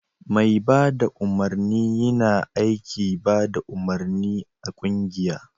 Mai bada umarni yina aiki bada umarni a kungiya